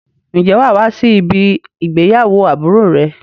Ǹjẹ́ wà á wá sí ibí ìgbéyàwó àbúrò rẹ?